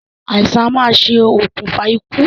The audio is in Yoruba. Àìsàn a máa ṣe òkùnfà ikú